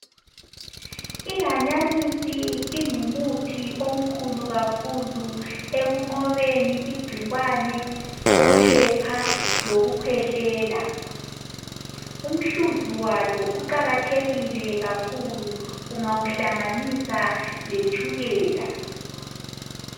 Ihanyanisi ingumuthi omkhulu kakhulu ekunqobeni igcikwane lophepha lokukhwehlela umhluzu walo uqakathekile kakhulu ungawuhlanganisa letshukela.